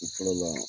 I fɔlɔ la